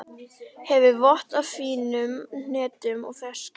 Hefur vott af fínum hnetum og ferskjum.